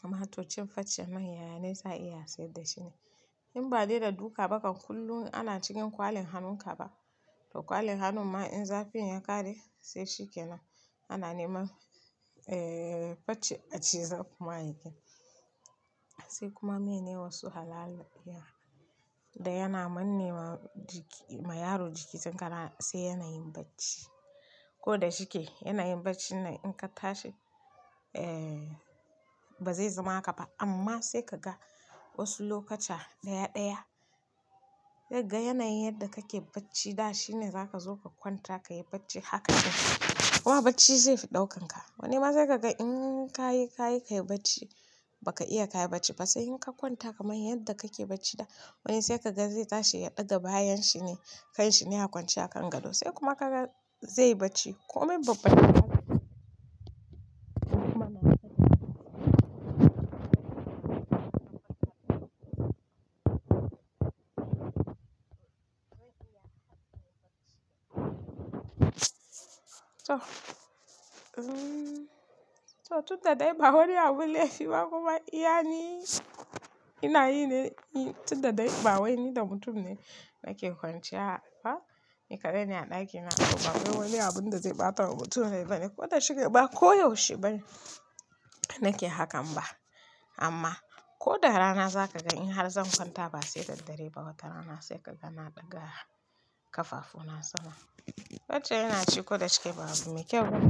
Kuma to cin farce mai yaya ne za a iya saida shine in ba dai da duka bakan kullum ana cikin kwalin hannun ka ba to kwalin hannun ma in zafin ya ƙare sai shi ke nan ana neman eh farce a ciza kuma yake nan. Sai kuma mene wasu halala iya da yana manne ma jiki, ma yaro jiki zankara sai yana yin bacci. Ko da shike yana yin bacci na in ka tashi eh ba zai zama haka ba amma sai kaga wasu lokuta ɗaya ɗaya sai ka ga yanayin yadda kake bacci da shine za ka zo ka kwanta ka yi bacci haka kenan. Kuma bacci zai fi ɗaukan ka. Wani ma sai kaga in ka yi, ka yi ka yi bacci ba ka iya ka yi bacci ba sai in ka kwanta kamar yadda kake bacci da wani sai kaga zai tashi ya ɗaga bayan shi ne kan shi ne ya kwance a kan gado sai kuma kaga zai yi bacci komai babba to, to tun da dai ba wani abun laifi ba kuma iya ni ina yi ne tun da dai ba wani da mutum ne nake kwanciya ba ni kaɗai ne a ɗakina kuma ba kai wani abun da zai ɓata mutum rai ba ne ko da shike ba koyaushe bane nake hakan ba. Amma ko da rana za ka ga in har zan kwanta ba sai daddare ba watarana sai kaga na ɗaga ƙafafu na sama. Yacce ina ci ko da shike babu me kyau ba.